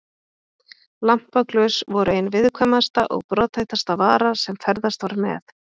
Lampaglös voru ein viðkvæmasta og brothættasta vara sem ferðast var með.